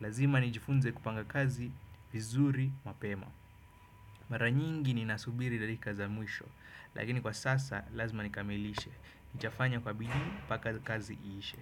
Lazima nijifunze kupanga kazi vizuri mapema. Maranyingi ni nasubiri dalika za mwisho. Lakini kwa sasa lazima nikamilishe. Nitafanya kwa bidii mpaka kazi iishe.